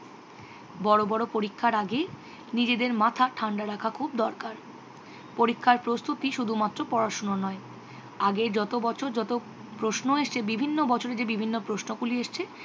বড় বড় পরীক্ষার আগে নিজেদের মাথা ঠাণ্ডা রাখা খুব দরকার। পরীক্ষার প্রস্তুতি শুধুমাত্র পড়াশুনো নয়। আগে যত বছর প্রশ্ন এসেছে বিভিন্ন বছর যে প্রশ্নগুলি এসেছে